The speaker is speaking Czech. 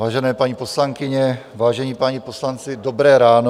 Vážené paní poslankyně, vážení páni poslanci, dobré ráno.